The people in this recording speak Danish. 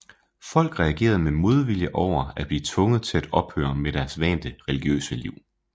Folk reagerede med modvilje over at blive tvunget til at ophøre med deres vante religiøse liv